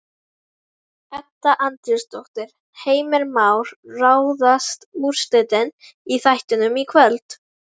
Edda Andrésdóttir: Heimir Már, ráðast úrslitin í þættinum í kvöld?